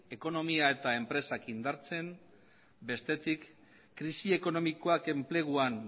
ekonomia eta enpresak indartzen bestetik krisi ekonomikoak enpleguan